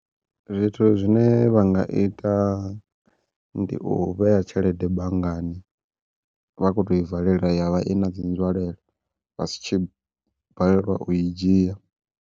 Zwithu zwine vha nga ita ndi u vhea tshelede banngani, vhakhoto i valela ya vha i nadzi nzwalelo vha si tshi balelwa u i dzhia.